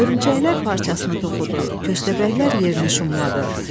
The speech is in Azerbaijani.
Hörümçəklər parçasını toxudu, köstəbəklər yerini şumladı.